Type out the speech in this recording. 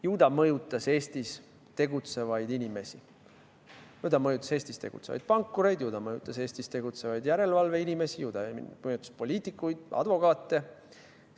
Ju ta mõjutas Eestis tegutsevaid inimesi, ju ta mõjutas Eestis tegutsevaid pankureid, ju ta mõjutas Eestis tegutsevaid järelevalve inimesi, ju ta mõjutas poliitikuid, advokaate.